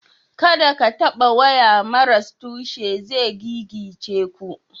Kada ka taɓa waya maras tushe zai gigice ku.